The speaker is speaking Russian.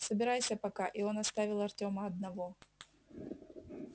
собирайся пока и он оставил артёма одного